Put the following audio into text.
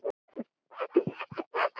Ég sneri mér að henni.